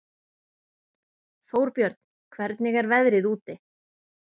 Þórbjörn, hvernig er veðrið úti?